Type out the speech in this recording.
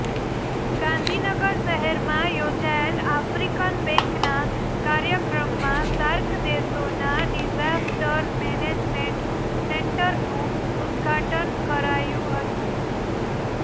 ગાંધીનગર શહેરમાં યોજાયેલ આફ્રિકન બેંકના કાર્યક્રમમાં સાર્ક દેશોના ડિઝાસ્ટર મેનેજમેન્ટ સેન્ટરનું ઉદ્ઘાટન કરાયું હતું